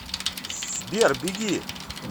сбер беги